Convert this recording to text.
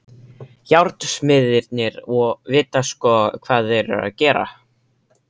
Járnsmiðirnir vita sko hvað þeir eru að gera.